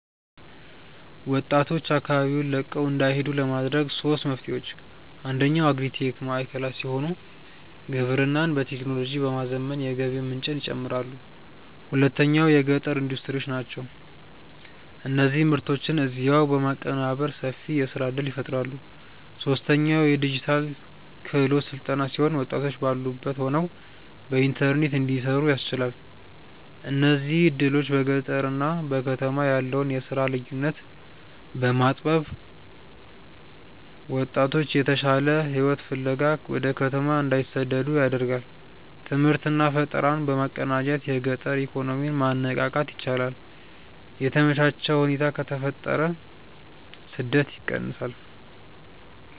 ወጣቶች አካባቢውን ለቀው እንዳይሄዱ ለማድረግ ሦስት መፍትሄዎች፦ አንደኛው አግሪ-ቴክ ማዕከላት ሲሆኑ፣ ግብርናን በቴክኖሎጂ በማዘመን የገቢ ምንጭን ይጨምራሉ። ሁለተኛው የገጠር ኢንዱስትሪዎች ናቸው፤ እነዚህ ምርቶችን እዚያው በማቀነባበር ሰፊ የሥራ ዕድል ይፈጥራሉ። ሦስተኛው የዲጂታል ክህሎት ሥልጠና ሲሆን፣ ወጣቶች ባሉበት ሆነው በኢንተርኔት እንዲሠሩ ያስችላል። እነዚህ ዕድሎች በገጠርና በከተማ ያለውን የሥራ ልዩነት በማጥበብ ወጣቶች የተሻለ ሕይወት ፍለጋ ወደ ከተማ እንዳይሰደዱ ያደርጋሉ። ትምህርትና ፈጠራን በማቀናጀት የገጠር ኢኮኖሚን ማነቃቃት ይቻላል። የተመቻቸ ሁኔታ ከተፈጠረ ስደት ይቀንሳል።